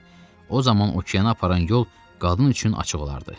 O zaman okeana aparan yol qadın üçün açıq olardı.